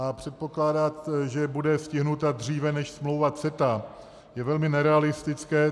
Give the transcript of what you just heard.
A předpokládat, že bude stižena dříve než smlouva CETA, je velmi nerealistické.